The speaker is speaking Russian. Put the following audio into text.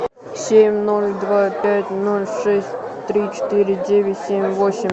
семь ноль два пять ноль шесть три четыре девять семь восемь